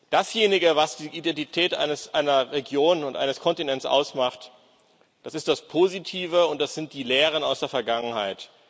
Dasjenige, was die Identität einer Region und eines Kontinents ausmacht, das ist das Positive und das sind die Lehren aus der Vergangenheit.